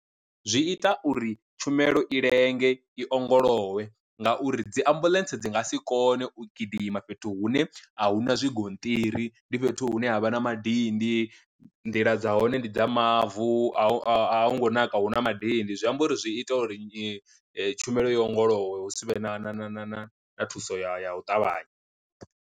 Zwi ita uri tshumelo i lenge i ongolowe ngauri dzi ambuḽentse dzi nga si kone u gidima fhethu hune ahuna zwigonṱiri ndi fhethu hune havha na madindi, nḓila dza hone ndi dza mavu, a hu a hu ngo naka hu na madindi zwi amba uri zwi ita uri tshumelo i ongolowe hu si vhe na na na na na thuso ya ya u ṱavhanya.